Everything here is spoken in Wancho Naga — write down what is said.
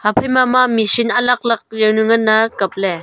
aphaima ma am machine alag alag yawna nganley kapley.